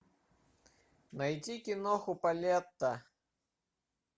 найти киноху полетта